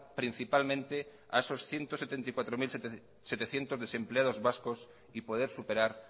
principalmente a esos ciento setenta y cuatro mil setecientos desempleados vascos y poder superar